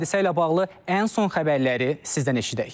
Hadisə ilə bağlı ən son xəbərləri sizdən eşidək.